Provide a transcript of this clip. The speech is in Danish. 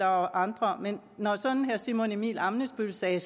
andre herre simon emil ammitzbøll sagde at